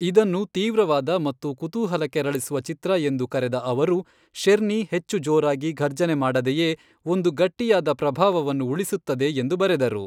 ಇದನ್ನು ತೀವ್ರವಾದ ಮತ್ತು ಕುತೂಹಲ ಕೆರಳಿಸುವ ಚಿತ್ರ ಎಂದು ಕರೆದ ಅವರು, ಶೆರ್ನಿ ಹೆಚ್ಚು ಜೋರಾಗಿ ಘರ್ಜನೆ ಮಾಡದೆಯೇ ಒಂದು ಗಟ್ಟಿಯಾದ ಪ್ರಭಾವವನ್ನು ಉಳಿಸುತ್ತದೆ ಎಂದು ಬರೆದರು.